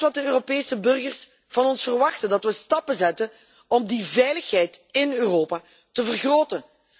Dat is wat de Europese burgers van ons verwachten dat we stappen zetten om de veiligheid in Europa te vergroten.